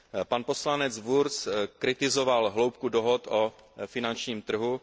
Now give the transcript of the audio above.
Pan poslanec Wurtz kritizoval hloubku dohod o finančním trhu.